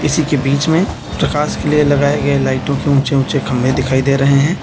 उसी के बीच में प्रकाश के लिए लगाए गए लाइटों की ऊंचे ऊंचे खंबे दिखाई दे रहे हैं।